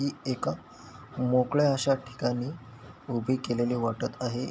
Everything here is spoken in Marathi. ही एका मोकळ्या अशा ठिकाणी उभी केलेली वाटत आहे.